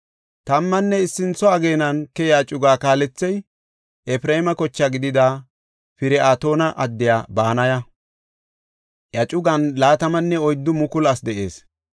Tammanne issintho ageenan keyiya cugaa kaalethey Efreema koche gidida Pir7atoona addiya Banaya; iya cugan 24,000 asi de7ees.